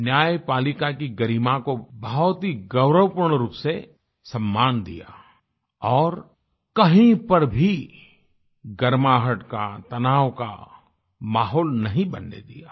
न्यायपालिका की गरिमा को बहुत ही गौरवपूर्ण रूप से सम्मान दिया और कहीं पर भी गर्माहट का तनाव का माहौल नहीं बनने दिया